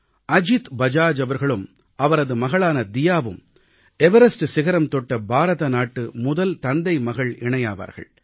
அஜீத் பஜாஜ் அவர்களும் அவரது மகளான தியாவும் எவரஸ்ட் சிகரம் தொட்ட பாரதநாட்டின் முதல் தந்தைமகள் இணையாவார்கள்